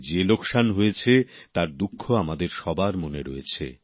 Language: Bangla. যে লোকসান হয়েছে তার দুঃখ আমাদের সবার মনে রয়েছে